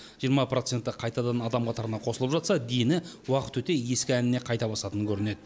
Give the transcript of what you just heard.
жиырма проценті қайтадан адам қатарына қосылып жатса дені уақыт өте ескі әніне қайта басатын көрінеді